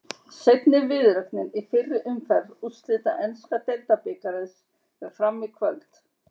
Seinni viðureignin í fyrri umferð úrslita enska deildabikarsins fer fram í kvöld.